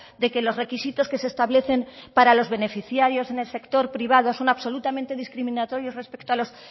de que los requisitos que se establecen para los beneficiarios en el sector privado son absolutamente discriminatorios respecto a los